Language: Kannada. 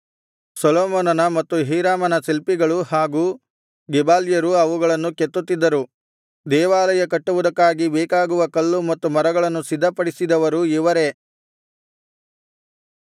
ಸೊಲೊಮೋನನ ಮತ್ತು ಹೀರಾಮನ ಶಿಲ್ಪಿಗಳೂ ಹಾಗು ಗೆಬಾಲ್ಯರೂ ಅವುಗಳನ್ನು ಕೆತ್ತುತ್ತಿದ್ದರು ದೇವಾಲಯ ಕಟ್ಟುವುದಕ್ಕಾಗಿ ಬೇಕಾಗುವ ಕಲ್ಲು ಮತ್ತು ಮರಗಳನ್ನು ಸಿದ್ಧಪಡಿಸಿದರೂ ಇವರೇ